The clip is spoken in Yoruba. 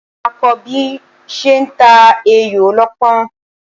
Mo máa kọ́ bí ṣe ń ta ayò ọlọ́pọ́n